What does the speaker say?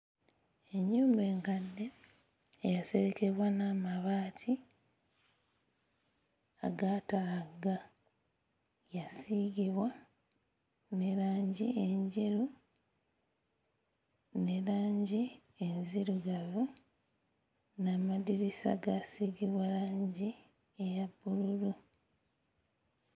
Ennyumba enkadde eyaserekebwa n'amabaati agaatalagga yasiigibwa ne langi enjeru ne langi enzirugavu n'amadirisa gaasiigibwa langi eya bbululu.